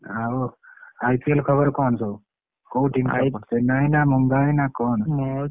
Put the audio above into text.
ଆଉ IPL ଖବର କଣ ସବୁ କୋଉ team ଚେନ୍ନାଇ ନା ମୁମ୍ବାଇ ନା କଣ?